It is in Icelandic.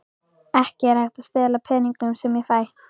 Ekki er ég að stela peningunum sem ég fæ.